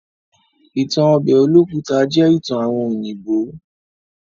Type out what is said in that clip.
Ìtan obe Olókùta jẹ́ ìtan àwon òyìnbó.